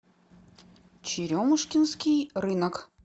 черемушкинский рынок